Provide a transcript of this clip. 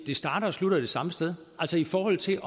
i forhold til